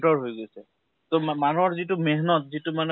তৰ হৈ গৈছে । তʼ মানুহৰ যিটো hindi:langmehnnat hindi:lang যিটো মানে